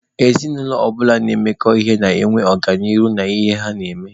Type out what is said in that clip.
Ezinụlọ ọbụla na-emekọ ihe na-enwe ọganihu n'ihe ha na-eme.